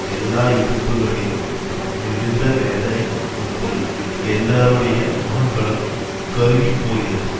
எல்லா இடுப்புகளிலும் மிகுந்த வேதனை உண்டு எல்லாருடைய முகங்களும் கருகிப்போகிறது